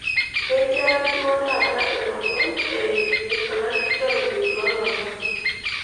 kejaa duo taa ilomon iyimo olalikioroni loolomon